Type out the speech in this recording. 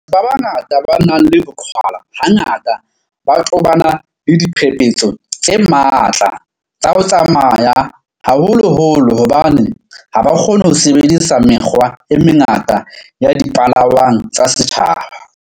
Batho ba bangata ba nang le boqhwala hangata ba tobana le diphephetso tse matla tsa ho tsamaya, haholoholo hobane ha ba kgone ho sebedisa mekgwa e mengata ya dipalangwang tsa setjhaba.